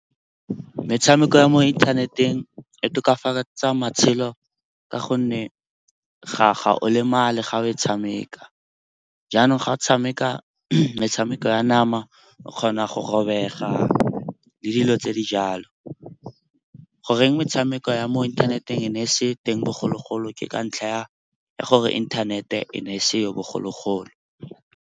Metshameko ya mo inthaneteng e tokafatsa matshelo ka gonne ga o lemale ga o e tshameka. Jaanong ga o tshameka metshameko ya nama, o kgona go robega le dilo tse di jalo. Goreng metshameko ya mo inthaneteng e ne e se teng bogologolo ke ka ntlha ya gore inthanete e ne e seyo bogologolo.